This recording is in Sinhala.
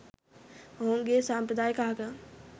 ඔවුන්ගේ සම්ප්‍රදායික ආගම්